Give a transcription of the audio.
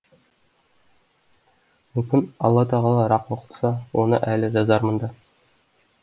мүмкін алла тағала рақым қылса оны әлі жазармын да